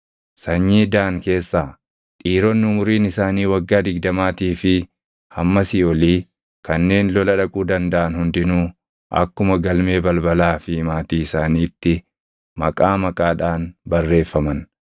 Sanyii Daan keessaa: Dhiironni umuriin isaanii waggaa digdamaatii fi hammasii olii kanneen lola dhaquu dandaʼan hundinuu akkuma galmee balbalaa fi maatii isaaniitti maqaa maqaadhaan barreeffaman.